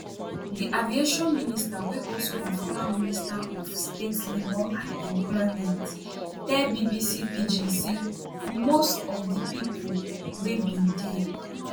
di aviation minister wey also be former minister of state labour and employment tell bbc pidgin say most of di pipo wey bin dey